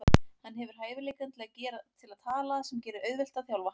Hann hefur hæfileikann til að tala sem gerir auðvelt að þjálfa hann.